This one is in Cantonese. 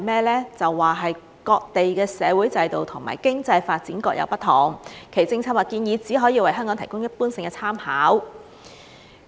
文件表示："各地的社會制度及經濟發展各有不同，其政策或建議只可為香港提供一般性的參考"。